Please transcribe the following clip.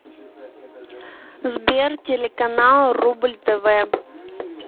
сбер телеканал рубль тв